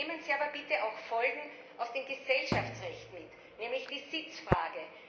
Nehmen Sie aber bitte auch Folgen aus dem Gesellschaftsrecht mit, nämlich die Sitzfrage!